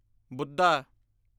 Buddha